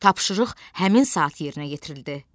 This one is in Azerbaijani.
Tapşırıq həmin saat yerinə yetirildi.